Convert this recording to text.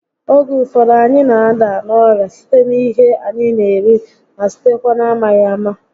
Oge ụfọdụ, anyị na- ada n'orịa site n'ihe anyị n'eri ma sitekwa n'amaghị ámá